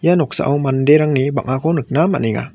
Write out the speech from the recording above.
ia noksao manderangni bang·ako nikna man·enga.